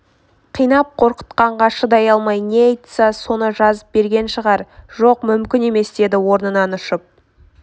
қинап қорқытқанға шыдай алмай не айтса соны жазып берген шығар жоқ мүмкін емес деді орнынан ұшып